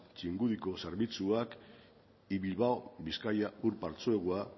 txingudiko zerbitzuak y bilbao bizkaia ur partzuergoa